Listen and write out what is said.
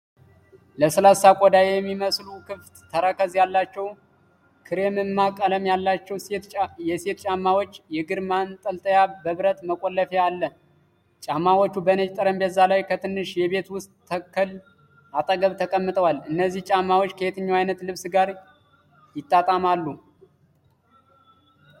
ለስላሳ ቆዳ የሚመስሉ ክፍት ተረከዝ ያላቸው ክሬምማ ቀለም ያላቸው ሴት ጫማዎች፣ የእግር ማንጠልጠያ በብረት መቆለፊያ አለ። ጫማዎቹ በነጭ ጠረጴዛ ላይ ከትንሽ የቤት ውስጥ ተክል አጠገብ ተቀምጠዋል። እነዚህ ጫማዎች ከየትኛው አይነት ልብስ ጋር ይጣጣማሉ?